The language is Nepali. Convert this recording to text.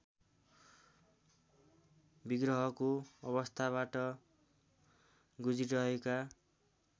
विग्रहको अवस्थाबाट गुज्रिरहेका